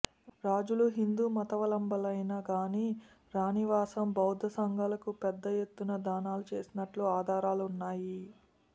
రాజులు హిందూమతావలంబులైనా గాని రాణివాసం బౌద్ధ సంఘాలకు పెద్దయెత్తున దానాలు చేసినట్లు ఆధారాలున్నాయి